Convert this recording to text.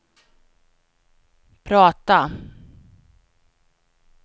prata